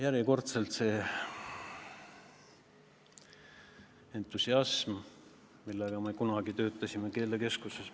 Järjekordselt: see on entusiasm, millega me kunagi töötasime keelekeskuses.